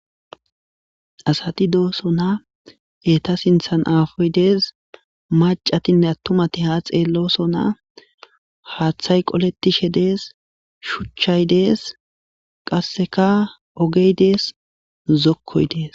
Asati do'sona eta sinthan apoyi dees macati atumati ha xelosona hathay qoletishe des shuchay des qaseka ogey des zokoyi des